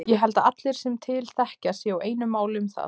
Ég held að allir sem til þekkja séu á einu máli um það.